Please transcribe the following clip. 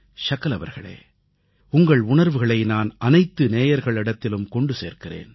ஷகல் அவர்களே உங்கள் உணர்வுகளை நான் அனைத்து நேயர்களிடத்திலும் கொண்டு சேர்க்கிறேன்